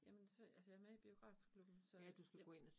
Jamen så, altså jeg med i biografklubben, så ja